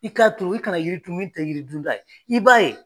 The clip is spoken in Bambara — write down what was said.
I k'a turu, i kana yiri turu min tɛ yiri dunta ye, i b'a ye.